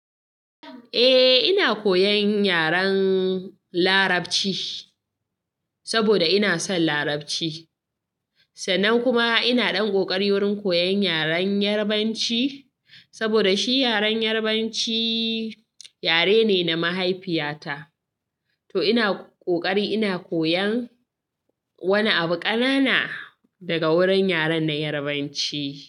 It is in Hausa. Eh ina koyan yaren larabci saboda ina son larabci sannan kuma ina ɗan ƙoƙari wurin koyan yaren Yarabanci saboda shi yaren Yarabanci yare ne na mahaifiyata to ina ƙoƙari ina koyan wani abu ƙanana daga wurin yaren na Yarabanci.